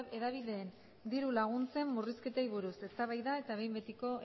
hedabideen diru laguntzen murrizketei buruz eztabaida eta behin betiko